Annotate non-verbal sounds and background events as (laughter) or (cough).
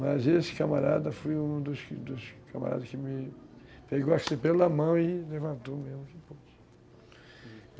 Mas esse camarada foi um dos dos camaradas que me... Pegou assim pela na mão e levantou mesmo, (unintelligible) hum